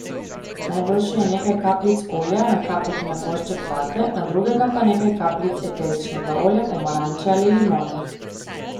Najboljše je nekaj kapljic olja nakapati na košček vate, na drugega pa nekaj kapljic eteričnega olja pomaranče ali limone.